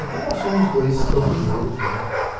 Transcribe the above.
Então, nós somos dois campineiros, né.